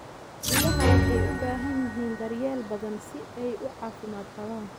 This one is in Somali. Idaha waxay u baahan yihiin daryeel badan si ay u caafimaad qabaan.